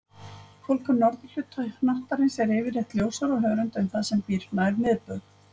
Fólk á norðurhluta hnattarins er yfirleitt ljósara á hörund en það sem býr nær miðbaug.